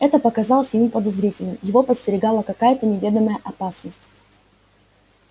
это показалось ему подозрительным его подстерегала какая то неведомая опасность